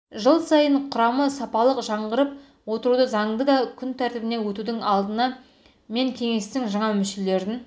жыл сайын құрамы сапалық жаңғырып отыруы заңды да күн тәртібіне өтудің алдында мен кеңестің жаңа мүшелерін